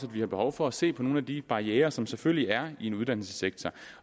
vi har behov for at se på nogle af de barrierer som selvfølgelig er i en uddannelsessektor